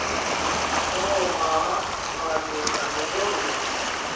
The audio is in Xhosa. oomama malunga nobungozi